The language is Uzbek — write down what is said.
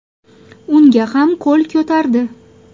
Unga ham qo‘l ko‘tardi.